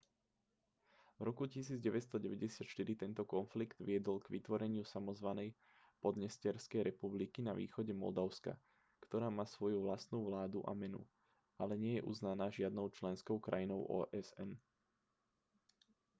v roku 1994 tento konflikt viedol k vytvoreniu samozvanej podnesterskej republiky na východe moldavska ktorá má svoju vlastnú vládu a menu ale nie je uznaná žiadnou členskou krajinou osn